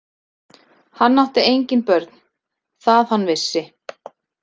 Hann átti engin börn, það hann vissi.